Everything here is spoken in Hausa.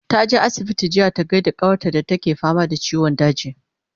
taje asibiti jiya ta gaida kawar ta da take fama da ciwon daji